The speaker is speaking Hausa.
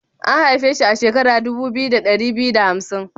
A'n haife shi a shekara dubu biyu, da dari biyu da hamsin.?